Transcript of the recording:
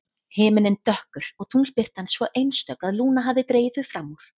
Himinninn dökkur og tunglbirtan svo einstök að Lúna hafði dregið þau fram úr.